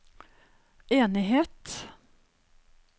enighet